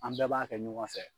An bɛɛ b'a kɛ ɲɔgɔn fɛ.